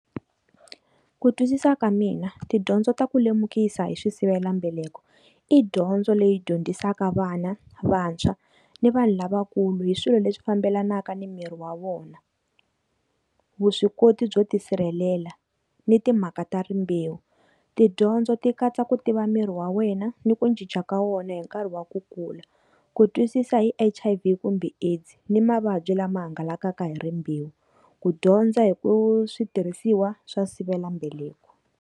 Ku twisisa ka mina tidyondzo ta ku lemukisa hi swi sivelambeleko, i dyondzo leyi dyondzisaka vana, vantshwa, ni vanhu lavakulu hi swilo leswi fambelanaka ni miri wa vona. Vuswikoti byo tisirhelela ni timhaka ta rimbewu. Tidyondzo ti katsa ku tiva miri wa wena, ni ku cinca ka wona hi nkarhi wa ku kula. Ku twisisa hi H_I_V kumbe AIDS ni mavabyi lama hangalakaka hi rimbewu, ku dyondza hi ku switirhisiwa swa sivelambeleko.